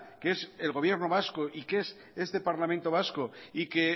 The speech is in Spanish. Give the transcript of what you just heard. que es el gobierno vasco y que es este parlamento vasco y que